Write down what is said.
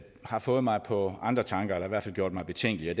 har fået mig på andre tanker eller i hvert fald gjort mig betænkelig